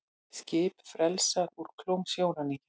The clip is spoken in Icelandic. Skip frelsað úr klóm sjóræningja